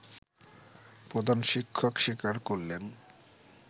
প্রধান শিক্ষক স্বীকার করলেন